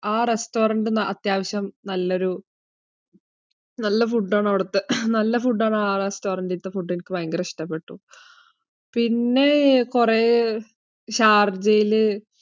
ആ restaurant അത്യാവശ്യം നല്ല ഒരു, നല്ല ഫുഡ് ആണ് അവിടുത്തെ. നല്ല ഫുഡ് ആണ് restaurant ഇത്തെ ഫുഡ്. എനിക്ക് ഭയങ്കര ഇഷ്ടപ്പെട്ടു. പിന്നെ കുറെ ഷാര്ജായിൽ